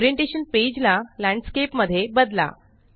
orientation page ला landscape मध्ये बदला